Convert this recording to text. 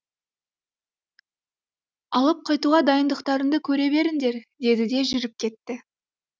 алып қайтуға дайындықтарыңды көре беріңдер деді де жүріп кетті